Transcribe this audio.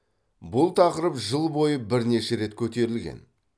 бұл тақырып жыл бойы бірнеше рет көтерілген